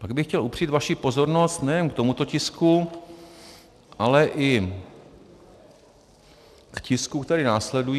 Pak bych chtěl upřít vaši pozornost nejen k tomuto tisku, ale i k tiskům, které následují.